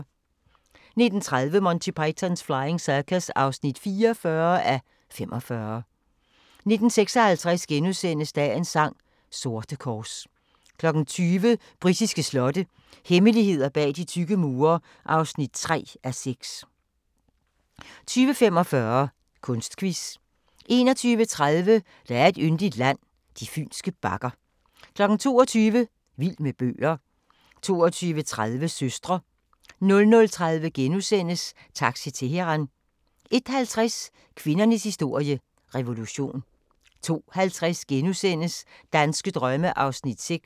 19:30: Monty Python's Flying Circus (44:45) 19:56: Dagens sang: Sorte kors * 20:00: Britiske slotte – hemmeligheder bag de tykke mure (3:6) 20:45: Kunstquiz 21:30: Der er et yndigt land – de fynske bakker 22:00: Vild med bøger 22:30: Søstre 00:30: Taxi Teheran * 01:50: Kvindernes historie – revolution 02:50: Danske drømme (6:10)*